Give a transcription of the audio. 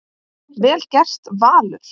Vel gert, Valur.